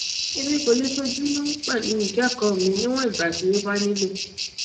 emi ko le ṣojumọ pẹlu ikẹkọ mi niwọn igba ti o ba nilo